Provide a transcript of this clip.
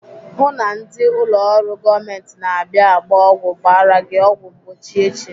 Hụụ na ndị ụlọ ọrụ gọọmenti na-abịa agba ọgwụ gbara gị ọgwụ mgbochi echi!